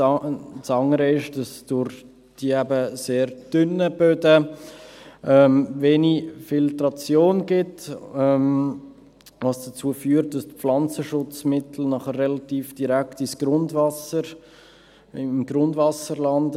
Das andere ist, dass es durch die sehr dünnen Böden wenig Filtration gibt, was dazu führt, dass die Pflanzenschutzmittel relativ direkt im Grundwasser landen.